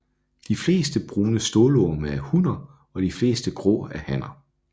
De fleste brune stålorme er hunner og de fleste grå er hanner